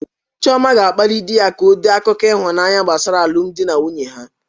Chioma ga-akpali di ya ka o dee akụkọ ịhụnanya gbasara alụmdi na nwunye ha